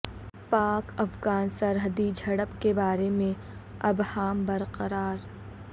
پاک افغان سرحدی جھڑپ کے بارے میں ابہام برقرار